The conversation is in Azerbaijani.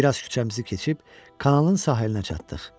Bir az küçəmizi keçib kanalın sahilinə çatdıq.